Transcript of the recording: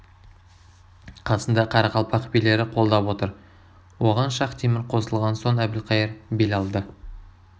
қасында қарақалпақ билері қолдап отыр оған шахтемір қосылған соң әбілқайыр бел алды